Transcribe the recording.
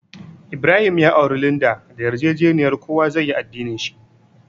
Ibrahim ya auri Linda da yarjejeniya kowa zai yi addinin shi.